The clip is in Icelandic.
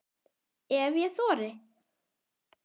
Ef ég þori.